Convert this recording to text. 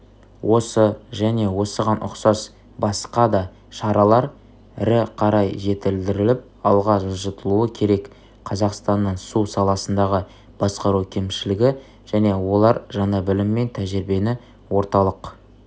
осы және осыған ұқсас басқа да шаралар рі қарай жетілдіріліп алға жылжытылуы керек қазақстанның су саласындағы басқару кемшілігі және олар жаңа білім мен тәжірибені орталық